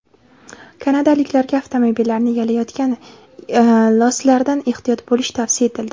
Kanadaliklarga avtomobillarni yalayotgan loslardan ehtiyot bo‘lish tavsiya etildi.